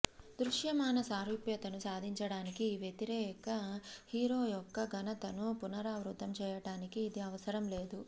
దృశ్యమాన సారూప్యతను సాధించడానికి ఈ వ్యతిరేక హీరో యొక్క ఘనతను పునరావృతం చేయడానికి ఇది అవసరం లేదు